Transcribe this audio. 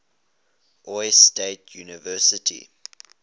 ohio state university